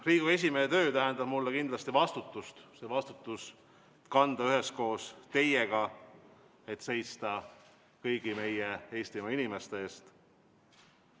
Riigikogu esimehe töö tähendab mulle kindlasti vastutust – vastutust, mida kanda üheskoos teiega, et seista kõigi Eestimaa inimeste eest.